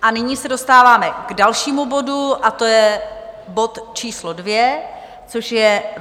A nyní se dostáváme k dalšímu bodu, a to je bod číslo 2, což je